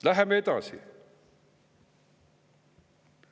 Läheme edasi.